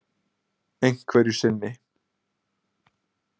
Einhverju sinni.